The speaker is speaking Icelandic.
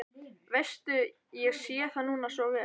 Veistu, ég sé það núna svo vel.